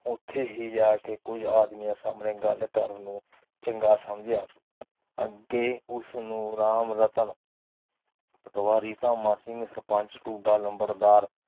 ਉੱਥੇ ਹੀ ਜਾ ਕੇ ਕੁਛ ਆਦਮੀਆਂ ਸਾਹਮਣੇ ਗੱਲ ਕਰਨ ਨੂੰ ਚੰਗਾ ਸਮਝਿਆ ਅੱਗੇ ਉਸਨੂੰ ਰਾਮ ਰਤਨ ਪਟਵਾਰੀ ਤਾ ਲੰਬਰਦਾਰ